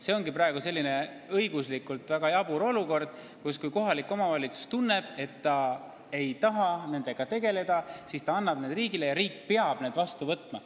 See ongi praegu õiguslikult väga jabur olukord: kui kohalik omavalitsus ei taha nendega tegeleda, siis ta annab need riigile ja riik peab need vastu võtma.